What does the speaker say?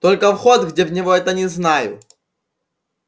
только вход где в него это не знаю